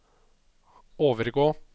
overgå